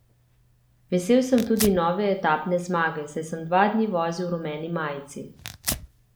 Vesel sem tudi nove etapne zmage, saj sem dva dni vozil v rumeni majici.